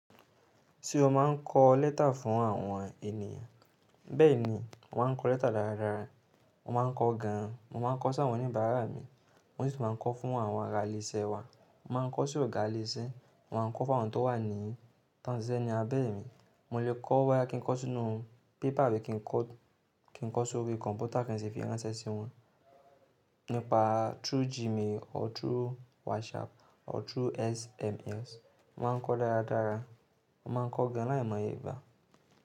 Ti o ma n kó lẹ́tà fún àwọn ènìyàn. Bẹ́ẹ̀ ni, mo ma n kó lẹ́tà dáradára, mo ma n kó gan. Mo ma n kó sáwòn ní bàrá mi, mo sì máa ń kó fún àwọn aralèṣe wa. Mo ma ń kó sí ọ̀gá iléṣẹ́, mo ma ń kó fún àwọn tó wà ní tọ́n ṣiṣẹ́ ní abẹ́ mi. Mo lè kọ́ bóyá kí n kó sínú pépà abu kí n kó, kí n kó sórí kọ̀ǹpútà kí n sì fi ránṣẹ́ sí wọn nípa through Gmail or through WhatsApp or through SMS. Mo ma ń kó dáradára, mo ma ń kó gan láìmọye ìbá.